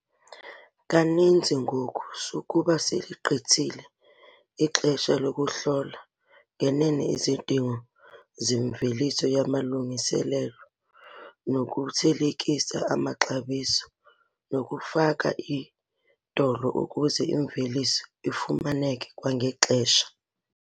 Kaninzi ngoku sukuba seligqithile ixesha lokuhlola ngenene izidingo zemveliso yamalungiselelo, nokuthelekisa amaxabiso nokufaka iiodolo ukuze imveliso ifumaneke kwangexesha.